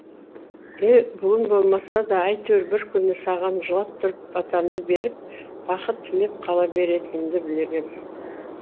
бүгін болмаса да әйтеуір бір күні саған жылап тұрып батамды беріп бақыт тілеп қала беретінімді білгем